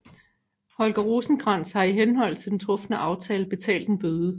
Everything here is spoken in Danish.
Holger Rosenkrantz har i henhold til den trufne aftale betalt en bøde